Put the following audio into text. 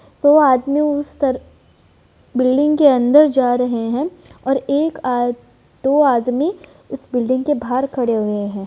वो आदमी उस तरफ बिल्डिंग के अंदर जा रहे हैं और एक आद दो आदमी उस बिल्डिंग के बाहर खड़े हुए हैं।